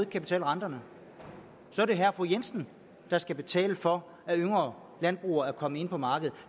kan betale renterne så er det herre og fru jensen der skal betale for at yngre landbrugere kommer ind på markedet